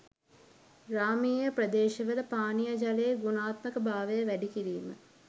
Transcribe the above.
ග්‍රාමීය ප්‍රදේශවල පානීය ජලයේ ගුණාත්මක භාවය වැඩි කිරීම